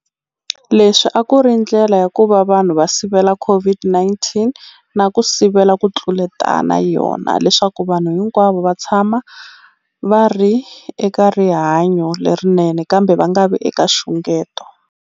Leswi a ku ri ndlela ya ku va vanhu va sivela COVID-19 na ku sivela ku tluletana yona leswaku vanhu hinkwavo va tshama va ri eka rihanyo lerinene kambe va nga vi eka nxungeto.